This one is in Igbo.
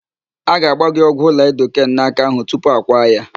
A ga-agba gị ọgwụ laịdoken n'áká ahụ tupu a kwaa ya.